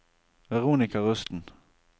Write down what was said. Veronika Rusten